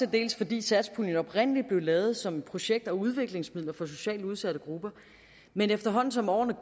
dels fordi satspuljen oprindelig blev lavet som projekt og udviklingsmidler for socialt udsatte grupper men efterhånden som årene er